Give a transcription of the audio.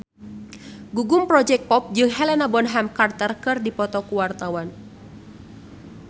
Gugum Project Pop jeung Helena Bonham Carter keur dipoto ku wartawan